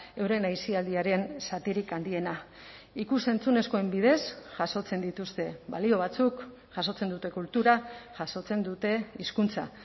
euren aisialdiaren zatirik handiena ikus entzunezkoen bidez jasotzen dituzte balio batzuk jasotzen dute kultura jasotzen dute hizkuntza